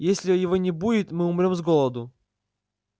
если его не будет мы умрём с голоду